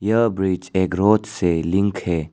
यह ब्रिज एक रोड से लिंक है।